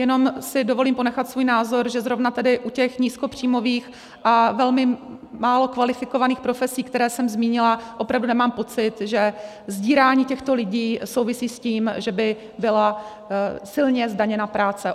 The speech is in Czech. Jenom si dovolím ponechat svůj názor, že zrovna tady u těch nízkopříjmových a velmi málo kvalifikovaných profesí, které jsem zmínila, opravdu nemám pocit, že sdírání těchto lidí souvisí s tím, že by byla silně zdaněna práce.